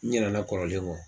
N ɲɛnana kɔrɔlen kɔ.